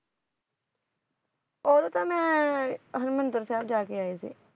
ਉਹਦੋਂ ਤਾਂ ਮੈਂ ਹਰਮਿੰਦਰ ਸਾਹਿਬ ਜਾਕੇ ਆਈ ਸੀ,